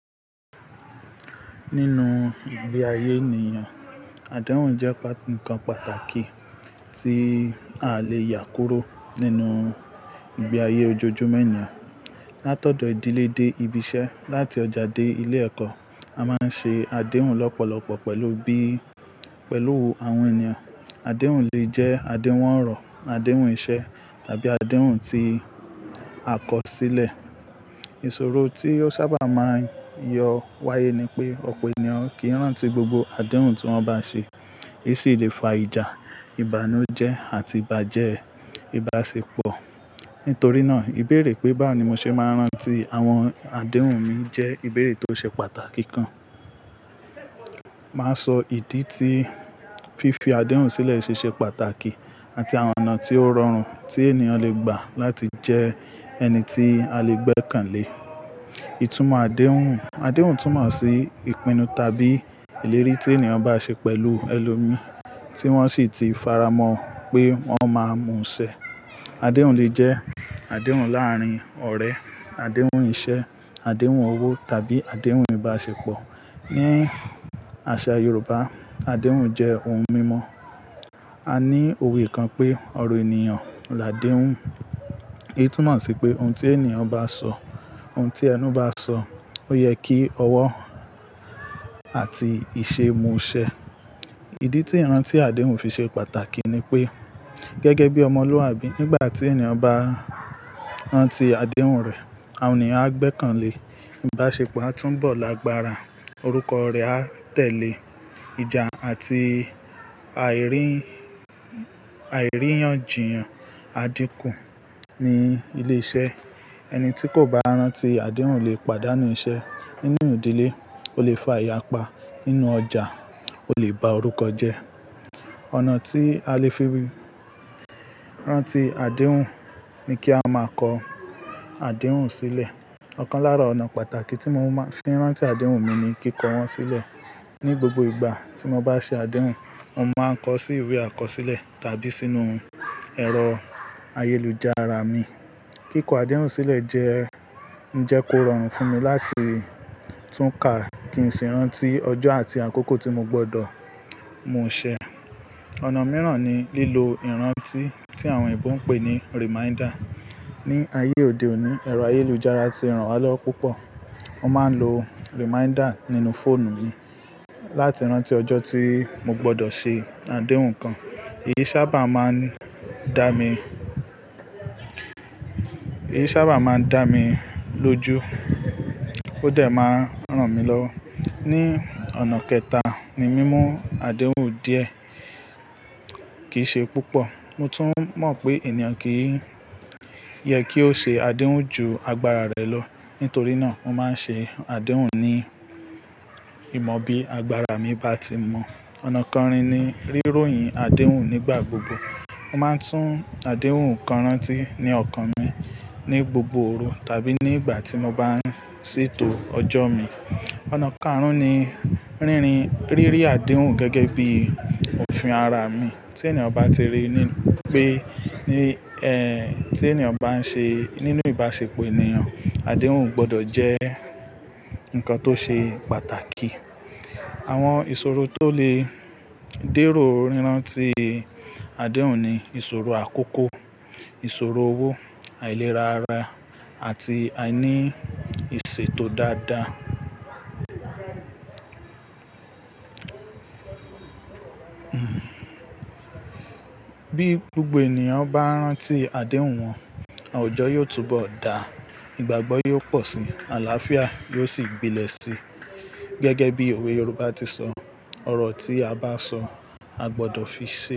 Nínú ìgbé ayé ènìyàn, àdéhùn jẹ́ nǹkan pàtàkì tí a lè yà kúrò nínú ìgbé ayé ojoojúmọ́ ènìyàn. Látọ̀dọ̀ ìdílé dé ibi iṣẹ́, láti ọjà dé ilé ẹ̀kọ́, a máa ń ṣe àdéhùn lọ́pọ̀lọpọ̀ pẹ̀lú bí, pẹ̀lú àwọn ènìyàn. Àdéhùn lè jẹ́ àdéhùn ọ̀rọ̀, àdéhùn iṣẹ́ tàbí àdéhùn tí a kọ sílẹ̀. Ìṣòro tí ó sábà máa ń yọ wáyé ni pé ọ̀pọ̀ ènìyàn kì í rántí gbogbo àdéhùn tí wọ́n bá ṣe. Èyí sì lè fa ìjà, ìbànújẹ́ àti bàjẹ ìbásepọ̀. Nítorí náà, ìbéèrè pé báwo ni mo ṣe máa ń rántí àwọn àdéhùn mi jẹ́ ìbéèrè tó ṣe pàtàkì gán. Màá sọ ìdí tí fífi àdéhùn sílẹ̀ ṣe ṣe pàtàkì àti àwọn ọ̀nà tí ó rọrùn tí ènìyàn lè gbà láti jẹ ẹni tí a lè gbẹ́kànlé. Ìtumọ̀ àdéhùn. Àdéhùn túmọ̀ sí ìpinnu tàbí ìlérí tí ènìyàn bá ṣe pẹ̀lú ẹlòmí tí wọ́n sì ti faramọ́ pé wọ́n máa mú un ṣẹ. Àdéhùn lè jẹ́ àdéhùn láàárín ọ̀rẹ́, àdéhùn iṣẹ́, àdéhùn owó tàbí àdéhùn ìbáṣepọ̀. Ni àṣà Yorùbá, àdéhùn jẹ́ ohun mímọ. A ní òwe kan pé "ọ̀rọ̀ ènìyàn làdéhùn." Èyí túmọ̀ sí pé ohun tí ènìyàn bá sọ, ohun tí ẹnu bá sọ ó yẹ kí ọwọ́ àti ìṣe mú ṣẹ. Ìdí tí ìrántí àdéhùn fi ṣe pàtàkì ni pé gẹ́gẹ́ bí ọmọlúwàbí, nígbà tí ènìyàn bá rántí àdéhùn rẹ̀, àwọn ènìyàn á gbẹ́kànlé, ìbáṣepọ̀ á túbọ̀ lágbára, orúkọ rẹ̀ á tẹ̀lé, ìjà àti àìrí, àìríyànjiyàn á dínkù ní ilé iṣẹ́. Ẹni tí kò bá rántí àdéhùn lè pàdánù iṣẹ́. Nínú ìdílé, ó lè fa ìyapa. Nínú ọjà, ó lè ba orúkọ jẹ́. Ọ̀nà tí a lè fi ri rántí àdéhùn ni kí a máa kọ àdéhùn sílẹ̀. Ọ̀kan lára ọ̀nà pàtàkì tí mo máa ń fi rántí àdéhùn mi ni kíkọ wọ́n sílẹ̀. Ni gbogbo ìgbà tí mo bá ṣe àdéhùn, mo máa ń kọ sí ìwé àkọsílẹ̀ tàbí sínú ẹ̀rọ ayélujára mi. Kíkọ àdéhùn sílẹ̀ jẹ́, ń jẹ́ kó rọrùn fún mi láti tún ká kí n sì rántí ọjọ́ àti àkókò tí mo gbọdọ̀ mú ṣẹ. Ọ̀nà mìíràn ni lílo ìrántí tí àwọn ẹ̀bùn pè ní reminder. Ni ayé òde òní, ẹ̀rọ ayélujára ti ràn wá lọ́wọ́ púpọ̀. Mo máa ń lo reminder nínú fóònù mi láti rántí ọjọ́ tí mo gbọdọ̀ ṣe àdéhùn kan. Èyí sábà máa ń dá mi, èyí sábà máa ń dá mi lójú ó dẹ̀ máa ń ran mi lọ́wọ́. Ni ọ̀nà kẹta ni mímú àdéhùn díẹ̀ kì í ṣe púpọ̀. Mo tún mọ̀ pé ènìyàn kì í yẹ kí ó ṣe àdéhùn ju agbára rẹ̀ lọ. Nítorí náà, mo máa ń ṣe àdéhùn ní ìmọ̀ bí agbára mi bá ti mọ̀. Ọ̀nà kẹrin ni ríròyìn àdéhùn nígbà gbogbo. Mo máa ń tún àdéhùn kan rántí ní ọ̀kan mi ní gbogbo òru tàbí nígbà tí mo bá ń ṣètò ọjọ́ mi. Ọ̀nà káàrún ni rínrin, rírí àdéhùn gẹ́gẹ́ bí òfin ara mi. Tí ènìyàn bá ti rí ní pé, ní ẹ́, tí ènìyàn bá ń ṣe, nínú ìbáṣepọ̀ ènìyàn, àdéhùn gbọdọ̀ jẹ́ nǹkan tó ṣe pàtàkì. Àwọn ìṣòro tó lè dẹ́rò rántí àdéhùn ni ìṣòro àkókò, ìṣòro owó, àìlera ara àti àìní ìṣe tó dáadáa. Bí gbogbo ènìyàn bá rántí àdéhùn wọn, ọjọ́ yóò túbọ̀ dà, ìgbàgbọ́ yóò pọ̀ síi, àlàáfíà yóò sì gbilẹ̀ síi. Gẹ́gẹ́ bí òwe Yorùbá ti sọ "ọ̀rọ̀ tí a bá sọ a gbọdọ̀ fi ṣe".